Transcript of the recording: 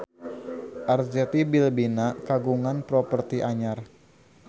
Arzetti Bilbina kagungan properti anyar